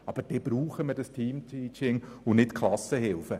Aber dazu brauchen wir Teamteaching, und nicht Klassenhilfen.